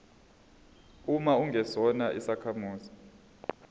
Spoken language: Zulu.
uma ungesona isakhamuzi